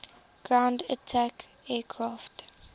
ground attack aircraft